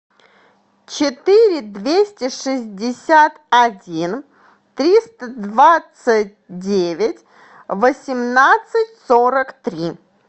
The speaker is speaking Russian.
четыре двести шестьдесят один триста двадцать девять восемнадцать сорок три